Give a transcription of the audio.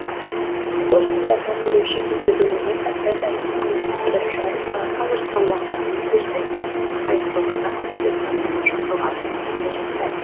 хош тыңдарманын ерекше күйге бөлеген концерт әншінің өзі бір жарым сағатқа жоспарлағанымен кештің тез ақ аяқталғанына көпшілік таң тамаша қалғанын несіне жасырайық